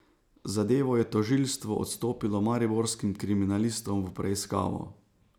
Zadevo je tožilstvo odstopilo mariborskim kriminalistom v preiskavo.